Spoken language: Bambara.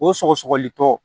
O sɔgɔsɔgɔli tɔ